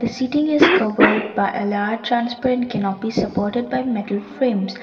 sitting is covered by a large transparent canopy supported by metal frames.